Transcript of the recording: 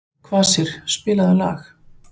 Kvasir, spilaðu lag.